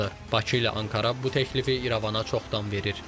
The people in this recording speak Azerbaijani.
Bakı ilə Ankara bu təklifi İrəvana çoxdan verir.